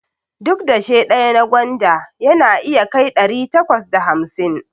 Duk dashe ɗaya na gwanda yana iya kai ɗari takwas da hamsin